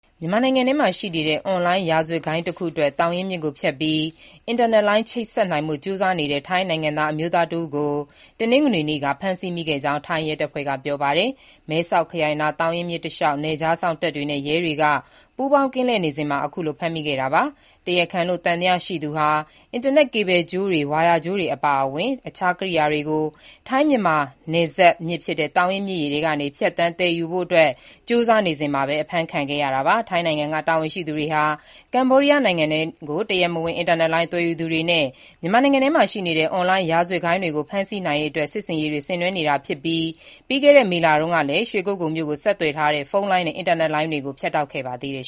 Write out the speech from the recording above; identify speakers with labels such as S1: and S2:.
S1: မြန်မာနိုင်ငံထဲမှာရှိနေတဲ့ အွန်လိုင်းရာဇတ်ဂိုဏ်းတခုအတွက် သောင်ရင်းမြစ်ကိုဖြတ်ပြီး အင်တာနက်လိုင်းချိတ်ဆက်နိုင်ဖို့ ကြိုးစားနေတဲ့ ထိုင်းနိုင်ငံသား အမျိုးသားတဦးကို တနင်္ဂနွေနေ့က ဖမ်းဆီးမိခဲ့ကြောင်း ထိုင်းရဲတပ်ဖွဲ့က ပြောပါတယ်။ မဲဆောက်ခရိုင်နား သောင်ရင်းမြစ်တလျောက် နယ်ခြားစောင့်တပ်နဲ့ ရဲတွေက ပူးပေါင်း ကင်းလှည့်နေစဉ်မှာ ခုလို ဖမ်းမိခဲ့တာပါ။ တရားခံလို့ သံသယရှိသူဟာ အင်တာနက် ကေဘယ်ကြိုးတွေ၊ ဝါယာကြိုးတွေအပါအဝင် အခြားကိရိယာတွေကို ထိုင်း-မြန်မာ နှစ်နိုင်ငံနယ်စပ်မြစ်ဖြစ်တဲ့ သောင်ရင်းမြစ်ရေထဲကနေ ဖြတ်သန်းသယ်ယူလို့ရတဲ့ ရေပေါ်ရှပ်ပြေးဒုံးပျံနဲ့ ပို့ဆောင်ဖို့ကြိုးစားနေစဉ်မှာ အဖမ်းခံခဲ့ရတာပါ။ ထိုင်းနိုင်ငံက တာဝန်ရှိသူတွေဟာ ကမ္ဘောဒီးယားနိုင်ငံထဲကို တရားမဝင် အင်တာနက်လိုင်း သွယ်ယူ သူတွေနဲ့ မြန်မာနိုင်ငံထဲမှာ ရှိနေတဲ့ အွန်လိုင်းရာဇဝတ်ဂိုဏ်းတွေကို ဖမ်းဆီးနိုင်ရေးအတွက် စစ်ဆင်ရေးတွေဆင်နွှဲနေတာဖြစ်ပြီး ပြီးခဲ့တဲ့ မေလတုန်းကလည်း ရွေကုက္ကိုလ်မြို့ကို ဆက်သွယ်ထားတဲ့ ဖုန်းလိုင်းနဲ့ အင်တာနက်လိုင်းတွေကို ဖြတ်တောက်ခဲ့ပါ
S2: သေးတယ်